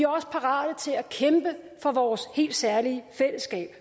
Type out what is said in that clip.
også parate til at kæmpe for vores helt særlige fællesskab